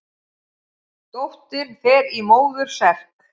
Dóttir fer í móður serk.